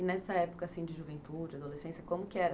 E nessa época, assim, de juventude, adolescência, como que era?